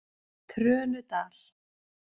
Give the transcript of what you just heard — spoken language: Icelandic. Trönudal